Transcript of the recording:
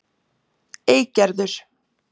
Eygerður